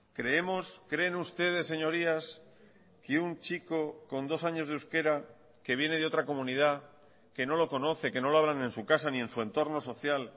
creemos creen ustedes señorías que un chico con dos años de euskera que viene de otra comunidad que no lo conoce que no lo hablan en su casa ni en su entorno social